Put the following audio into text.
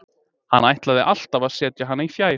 Hann ætlaði alltaf að setja hann í fjær.